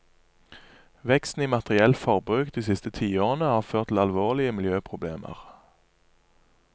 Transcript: Veksten i materielt forbruk de siste tiårene har ført til alvorlige miljøproblemer.